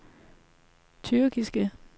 tyrkiske